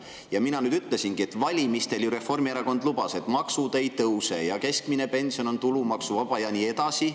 Ja mina ütlesingi, et valimistel Reformierakond lubas, et maksud ei tõuse ja keskmine pension on tulumaksuvaba ja nii edasi.